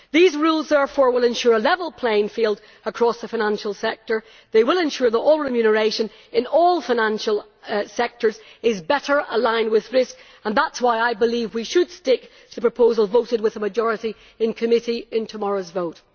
These rules will therefore ensure a level playing field across the financial sector, they will ensure that all remuneration in all financial sectors is better aligned with risk, and that is why I believe we should stick to the proposal voted with a majority in committee in tomorrow's vote.